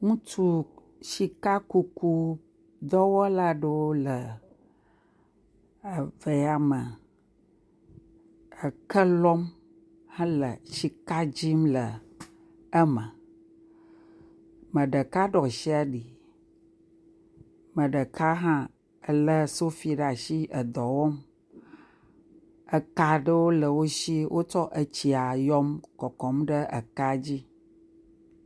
Ŋutsu sika kuku dɔwɔla aɖewo le ave ya me, eke lɔm hele siks dim le eme, ame ɖeka ɖo asi ali, ame ɖeka hã lé sofi ɖe asi edɔ wɔm, eka ɖewo le wo si wotsɔ tsia yɔm kɔkɔm ɖe ekea dzi.